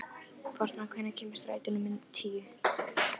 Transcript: Fossmar, hvenær kemur strætó númer tíu?